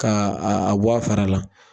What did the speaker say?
Ka a a bɔ a fara la.